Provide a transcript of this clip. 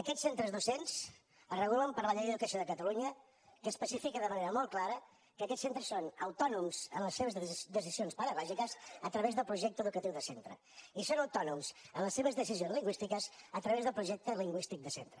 aquests centres docents es regulen per la llei d’educació de catalunya que especifica de manera molt clara que aquests centres són autònoms en les seves decisions pedagògiques a través del projecte educatiu de centre i són autònoms en les seves decisions lingüístiques a través del projecte lingüístic de centre